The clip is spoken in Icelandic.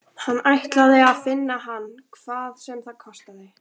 Hann ætlaði að finna hann hvað sem það kostaði.